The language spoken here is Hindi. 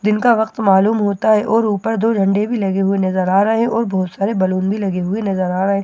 दिन का वक्त मालूम होता है और ऊपर दो झंडे भी लगे हुए नजर आ रहे हैं और बहुत सारे बलून भी लगे हुए नजर आ रहे हैं ।